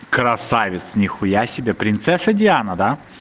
красавец нихуя себе принцесса диана да